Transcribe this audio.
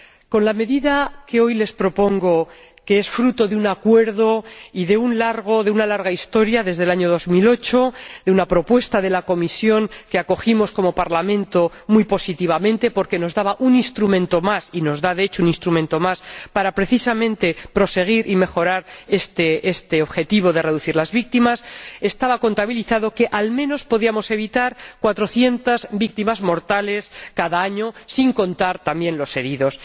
Con la medida que hoy les propongo —que es fruto de un acuerdo y de una larga historia, iniciada en 2008, a partir de una propuesta de la Comisión, que como Parlamento acogimos muy positivamente, porque nos daba un instrumento más, y nos da, de hecho, un instrumento más para, precisamente, proseguir y mejorar este objetivo de reducir el número de víctimas—, se contabilizaba que, al menos, podíamos evitar 400 víctimas mortales cada año, sin contar también los heridos.